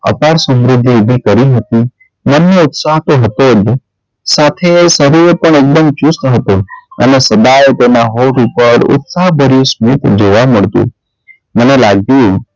અપાર સમૃદ્ધિ ઊભી કરી મૂકી મનનો ઉત્સાહ તો હતો જ સાથે શરીરે પણ અબન ચુસ્ત હતું અને સદાય તેનાં હોઠ ઉપર ઉત્સાહ ભર્યું સ્મિત જોવાં મળતું મને લાગ્યું,